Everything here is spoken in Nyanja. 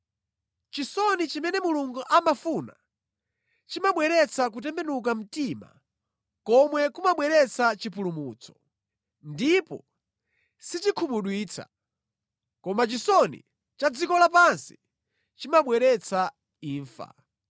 Chisoni chimene Mulungu amafuna chimabweretsa kutembenuka mtima komwe kumabweretsa chipulumutso, ndipo sichikhumudwitsa. Koma chisoni cha dziko lapansi chimabweretsa imfa.